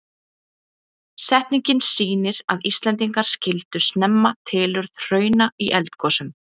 Setningin sýnir að Íslendingar skildu snemma tilurð hrauna í eldgosum.